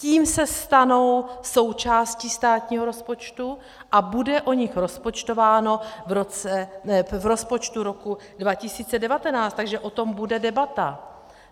Tím se stanou součástí státního rozpočtu a bude o nich rozpočtováno v rozpočtu roku 2019, takže o tom bude debata.